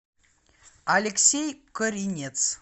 алексей коринец